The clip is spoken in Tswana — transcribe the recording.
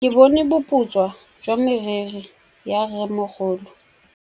Ke bone boputswa jwa meriri ya rrêmogolo.